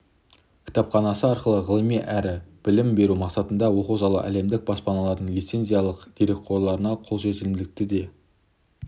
кітапханасы арқылы ғылыми әрі білім беру мақсатында оқу залы әлемдік баспалардың лицензиялық дерекқорларына қолжетімділікті де